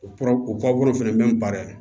O pɔrɔ o taabolo fɛnɛ bɛ n baara yen